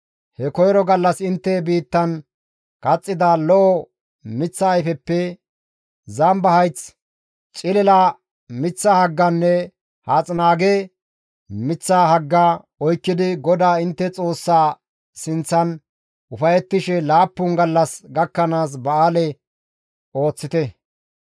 He koyro gallas intte biittan kaxxiza lo7o miththa ayfeppe, zamba hayth, cilila miththa hagganne haaththinaage miththa hagga oykkidi GODAA intte Xoossaa sinththan ufayettishe laappun gallas gakkanaas ba7aale ooththite.